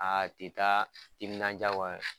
Aa ti taa timinandiya kɔ